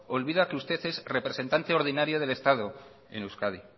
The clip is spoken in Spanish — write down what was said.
olvida que usted es representante ordinario del estado en euskadi